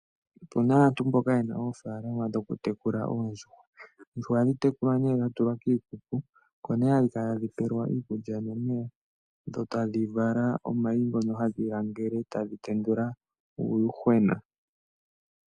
Opuna aantu mboka yena oofalama dhokutekula oondjuhwa. Oondjuhwa ohadhi tekulwa nee dhatulwa kiikuku oko nee hadhi kala tadhi pelwa iikulya nomeya dho tadhi vala omayi ngono hadhi langele, dho tadhi tendula uuyuhwena.